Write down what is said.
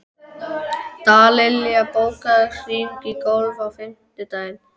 Dallilja, bókaðu hring í golf á fimmtudaginn.